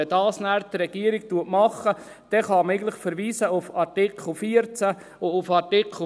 Wenn das die Regierung nachher macht, dann kann man nachher eigentlich auf Artikel 14 und Artikel 45 verweisen.